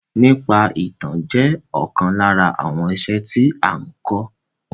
Èkọ́ nípa ìtàn jẹ́ ọ̀kan lára àwọn iṣẹ́ tí a n kọ́.